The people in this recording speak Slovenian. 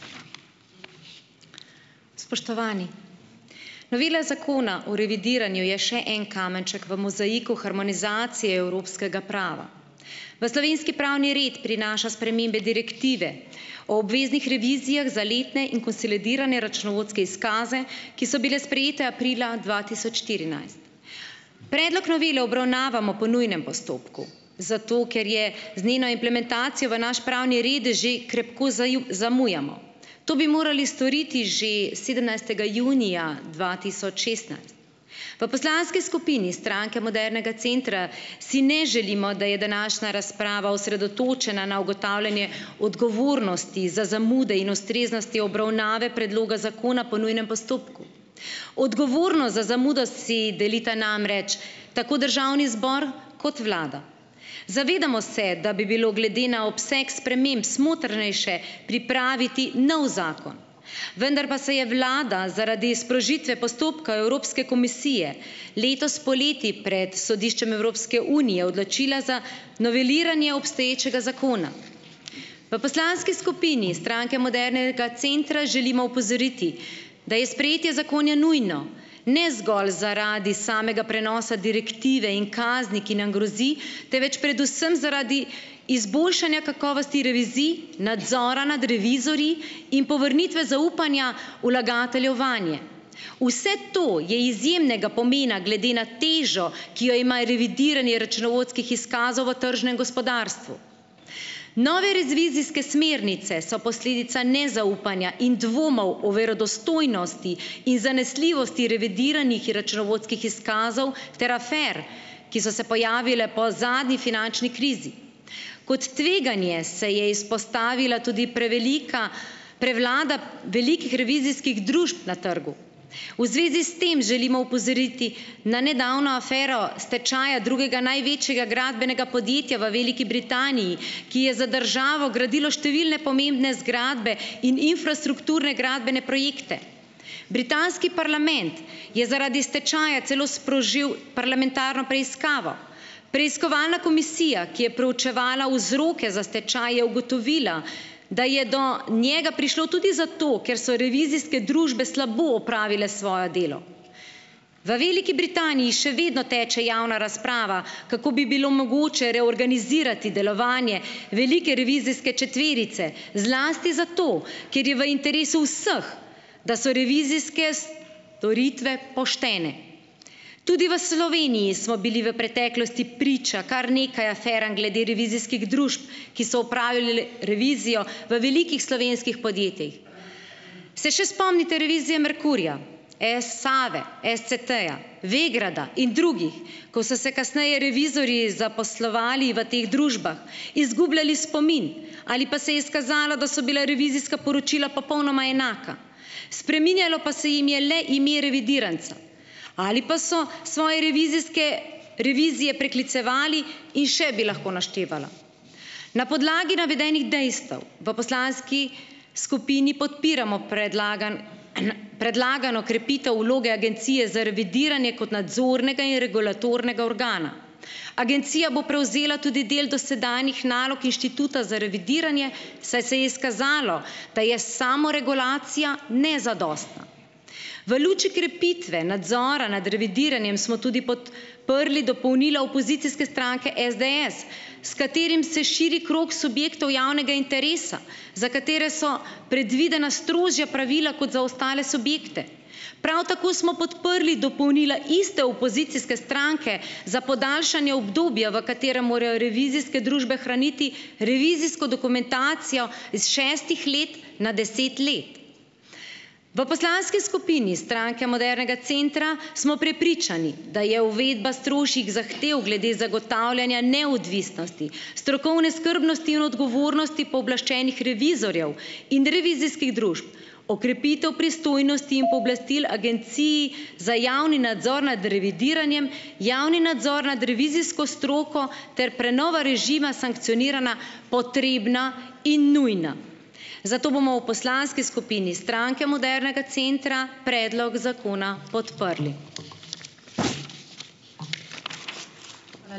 Spoštovani! Novela zakona o revidiranju je še en kamenček v mozaiku harmonizacije evropskega prava. V slovenski pravni red prinaša spremembe direktive o obveznih revizijah za letne in konsolidirane računovodske izkaze, ki so bile sprejete aprila dva tisoč štirinajst. Predlog novele obravnavamo po nujnem postopku, zato ker je z njeno implementacijo v naš pravni red že krepko zaju zamujamo. To bi morali storiti že sedemnajstega junija dva tisoč šestnajst. V poslanski skupini Stranke modernega centra si ne želimo, da je današnja razprava osredotočena na ugotavljanje odgovornosti za zamude in ustreznosti obravnave predloga zakona po nujnem postopku. Odgovornost za zamudo si delita namreč tako državni zbor kot vlada. Zavedamo se, da bi bilo glede na obseg sprememb smotrnejše pripraviti novi zakon, vendar pa se je vlada zaradi sprožitve postopka Evropske komisije letos poleti pred Sodiščem Evropske unije odločila za noveliranje obstoječega zakona. V poslanski skupini Stranke modernega centra želimo opozoriti, da je sprejetje zakona nujno ne zgolj zaradi samega prenosa direktive in kazni, ki nam grozi, temveč predvsem zaradi izboljšanja kakovosti revizij, nadzora nad revizorji in povrnitve zaupanja vlagateljev vanje. Vse to je izjemnega pomena glede na težo, ki jo ima revidiranje računovodskih izkazov v tržnem gospodarstvu. Nove revizijske smernice so posledica nezaupanja in dvomov o verodostojnosti in zanesljivosti revidiranih računovodskih izkazov ter afer, ki so se pojavile po zadnji finančni krizi. Kot tveganje se je izpostavila tudi prevelika prevlada velikih revizijskih družb na trgu. V zvezi s tem želimo opozoriti na nedavno afero stečaja drugega največjega gradbenega podjetja v Veliki Britaniji, ki je za državo gradilo številne pomembne zgradbe in infrastrukturne gradbene projekte. Britanski parlament je zaradi stečaja celo sprožil parlamentarno preiskavo. Preiskovalna komisija, ki je proučevala vzroke za stečaj, je ugotovila, da je do njega prišlo tudi zato, ker so revizijske družbe slabo opravile svoje delo. V Veliki Britaniji še vedno teče javna razprava, kako bi bilo mogoče reorganizirati delovanje velike revizijske četverice, zlasti zato, ker je v interesu vseh, da so revizijske storitve poštene. Tudi v Sloveniji smo bili v preteklosti priča kar nekaj aferam glede revizijskih družb, ki so opravile revizijo v velikih slovenskih podjetjih. Se še spomnite revizije Merkurja, Save, SCT-ja, Vegrada in drugih, ko so se kasneje revizorji zaposlovali v teh družbah, izgubljali spomin ali pa se je izkazalo, da so bila revizijska poročila popolnoma enaka, spreminjalo pa se jim je le ime revidiranca ali pa so svoje revizijske revizije preklicevali, in še bi lahko naštevala. Na podlagi navedenih dejstev v poslanski skupini podpiramo predlagan, predlagano krepitev vloge Agencije za revidiranje kot nadzornega in regulatornega organa. Agencija bo prevzela tudi del dosedanjih nalog Inštituta za revidiranje, saj se je izkazalo, da je samoregulacija nezadostna. V luči krepitve nadzora nad revidiranjem smo tudi pod prli dopolnila opozicijske stranke SDS, s katerim se širi krog subjektov javnega interesa, za katere so predvidena strožja pravila kot za ostale subjekte. Prav tako smo podprli dopolnila iste opozicijske stranke za podaljšanje obdobja, v katerem morajo revizijske družbe hraniti revizijsko dokumentacijo iz šestih let na deset let. V poslanski skupini Stranke Modernega centra smo prepričani, da je uvedba strožjih zahtev glede zagotavljanja neodvisnosti, strokovne skrbnosti in odgovornosti pooblaščenih revizorjev in revizijskih družb okrepitev pristojnosti in pooblastil agencij za javni nadzor nad revidiranjem, javni nadzor nad revizijsko stroko ter prenova režima sankcionirana, potrebna in nujna. Zato bomo v poslanski skupini Stranke modernega centra predlog zakona podprli.